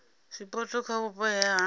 zwipotso kha vhupo he ha